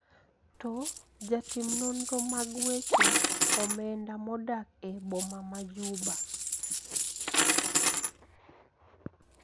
To jatin nonro mag weche omenda modak e boma ma Juba